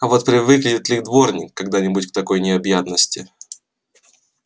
а вот привыкнет ли дворник когда-нибудь к такой необъятности